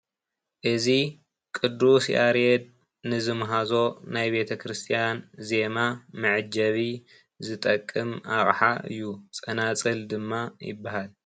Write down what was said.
እዚ ቁዱስ ያሬድ ንዝማሃዞ ናይ ቤተክርስትያን ዜማ መዐጀቢ ዝጠቅም አቅሓ እዩ ።ፀናፅል ድማ ይበሃል፡፡